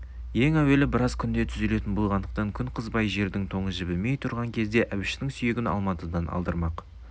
ең әуелі жол біраз күнде түзелетін болғандықтан күн қызбай жердің тоңы жібімей тұрған кезде әбіштің сүйегін алматыдан алдырмақ